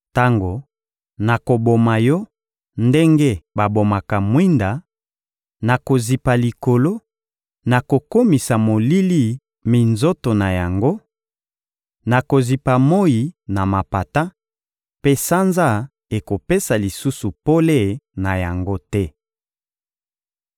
Tango nakoboma yo ndenge babomaka mwinda, nakozipa likolo, nakokomisa molili minzoto na yango; nakozipa moyi na mapata, mpe sanza ekopesa lisusu pole na yango te.